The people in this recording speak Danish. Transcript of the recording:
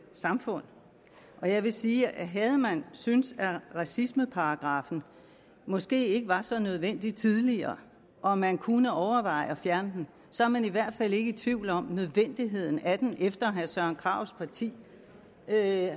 samfund jeg vil sige at havde man syntes at racismeparagraffen måske ikke var så nødvendig tidligere og at man kunne overveje at fjerne den så er man i hvert fald ikke i tvivl om nødvendigheden af den efter herre søren krarups parti